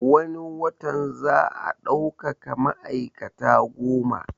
Wani watan za a daukaka ma'aikata goma